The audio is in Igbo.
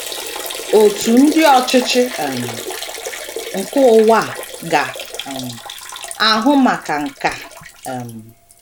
Òtù ndi ọchịchị um nke ụwa a ga um - ahụ maka nke a um.